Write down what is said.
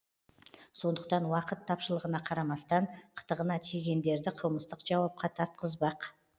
сондықтан уақыт тапшылығына қарамастан қытығына тигендерді қылмыстық жауапқа тартқызбақ